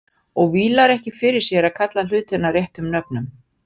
Og vílar ekki fyrir sér að kalla hlutina réttum nöfnum.